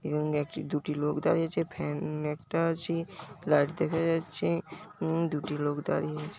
এবং একটি দুটি লোক দাঁড়িয়ে আছে ফ্যান একটা আছে লাইট দেখা যাচ্ছে উম দুটি লোক দাঁড়িয়ে আছে।